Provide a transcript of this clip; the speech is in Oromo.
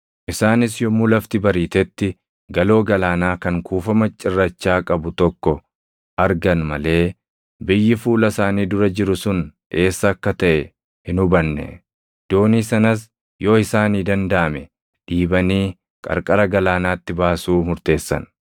Isaanis yommuu lafti bariitetti galoo galaanaa kan kuufama cirrachaa qabu tokko argan malee biyyi fuula isaanii dura jiru sun eessa akka taʼe hin hubanne; doonii sanas yoo isaanii dandaʼame dhiibanii qarqara galaanaatti baasuu murteessan.